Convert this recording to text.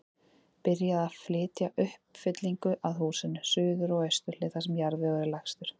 Byrjað að flytja uppfyllingu að húsinu, suður og austur hlið, þar sem jarðvegur er lægstur.